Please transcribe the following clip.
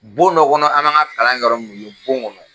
Bon nɔ kɔnɔ an m'an ka kalan kɛ yɔrɔ min yen bon kɔnɔ.